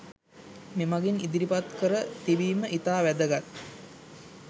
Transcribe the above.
මෙමගින් ඉදිරිපත් කර තිබීම ඉතා වැදගත්